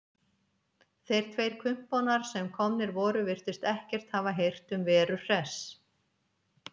Þeir tveir kumpánar sem komnir voru virtust ekkert hafa heyrt um Veru Hress.